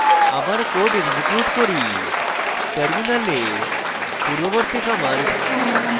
আবার code execute করি terminal